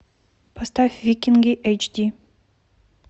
поставь викинги эйч ди